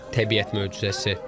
Təbiət möcüzəsi.